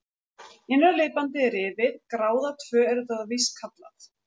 Innra liðbandið er rifið, gráða tvö er þetta víst kallað.